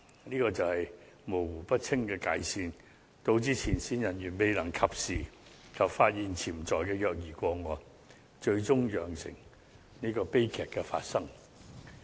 這就是界線模糊不清，導致前線人員未能及時發現潛在的虐兒個案，最終釀成悲劇發生。